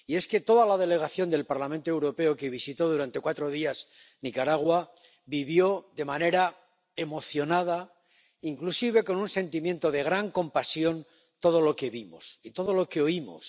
Y es que toda la delegación del Parlamento Europeo, que visitó durante cuatro días Nicaragua, vivió de manera emocionada —inclusive con un sentimiento de gran compasión— todo lo que vimos y todo lo que oímos.